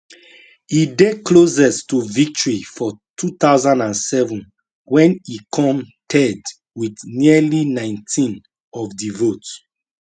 e dey closest to victory for 2007 wen e come third wit nearly 19 of di vote